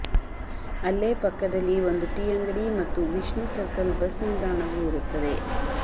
ಅಲ್ಲೇ ಪಕ್ಕದಲ್ಲಿ ಒಂದು ಟೀ ಅಂಗಡಿ ಮತ್ತು ವಿಷ್ಣು ಸರ್ಕಲ್ ಬಸ್ ನಿಲ್ದಾಣವೂ ಇರುತ್ತದೆ